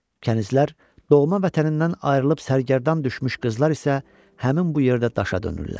Kənizlər doğma vətənindən ayrılıb sərgərdan düşmüş qızlar isə həmin bu yerdə daşa dönürlər.